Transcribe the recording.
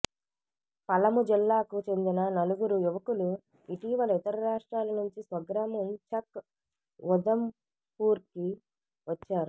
పలము జిల్లాకు చెందిన నలుగురు యువకులు ఇటీవల ఇతర రాష్ట్రాల నుంచి స్వగ్రామం చక్ ఉదమ్పూర్కి వచ్చారు